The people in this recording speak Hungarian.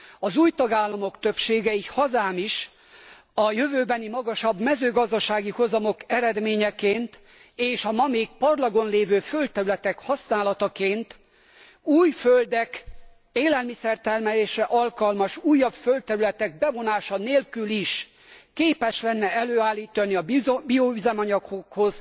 Az új tagállamok többsége, így hazám is, a jövőbeni magasabb mezőgazdasági hozamok eredményeként és a ma még parlagon lévő földterületek használataként új földek, élelmiszertermelésre alkalmas újabb földterületek bevonása nélkül is képes lenne előállítani a bioüzemanyagokhoz